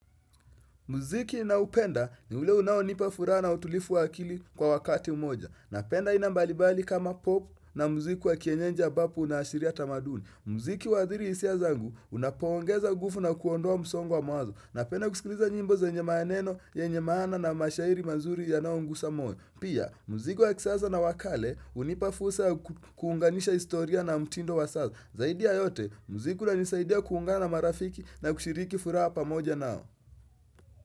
Muziki na upenda ni ule unao nipa furaha na utulifu wa akili kwa wakati mmoja. Napenda aina mbalibali kama pop na muziki wa kienyeji ambapo una ashiria tamaduni. Muziki wadhiri isia zangu unapoongeza nguvu na kuondoa msongo wa mawazo. Napenda kusikiliza nyimbo ze nye maaneno, ye nye maana na mashairi mazuri ya nao ngusa moyo. Pia, muziki wa kisasa na wakale unipa fursa kuunganisha istoria na mtindo wa sasa. Zaidi ya yote, muziki una nisaidia kuungana na marafiki na kushiriki furaha pa moja nao.